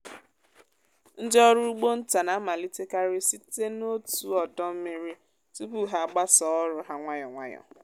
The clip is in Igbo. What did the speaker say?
ndị ọrụ ugbo nta na-amalitekarị site n’otu ọdọ mmiri tupu ha gbasaa ọrụ ha nwayọ nwayọ.